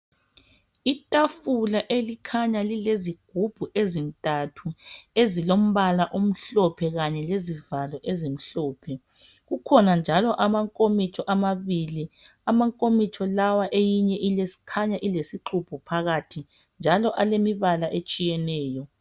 Itafula elikhanya lilezigubhu ezintathu ezilombala omhlophe kanye lezivalo ezimhlophe , kukhona njalo amankomitsho amabili eyinye njalo inkomitsho khanga ilesixubho phakathi njalo alemibala etshiyeneyo.